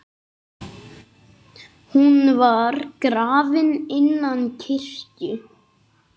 Hún var grafin innan kirkju.